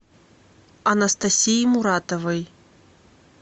анастасии муратовой